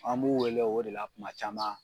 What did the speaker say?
An b'u wele o de la kuma caman.